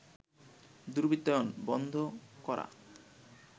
দুর্বৃত্তায়ন বন্ধ করা